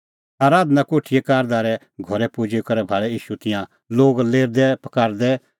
आराधना कोठीए कारदारे घरै पुजी करै भाल़ै ईशू तिंयां लोग लेरदैपकारदै